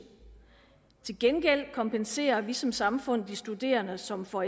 til gengæld kompenserer vi som samfund de studerende som får